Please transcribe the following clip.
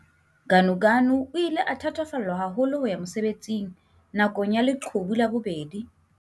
Ganuganu o ile a thatafallwa haholo ho ya mosebetsing na kong ya leqhubu la bobedi.